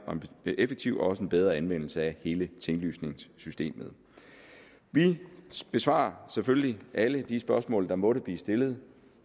effektiv og også bedre anvendelse af hele tinglysningssystemet vi besvarer selvfølgelig alle de spørgsmål der måtte blive stillet